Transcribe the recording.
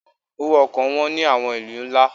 Owó ọkọ̀ wọn ní àwọn ìlú ńlá.